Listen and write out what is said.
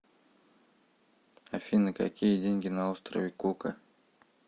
афина какие деньги на острове кука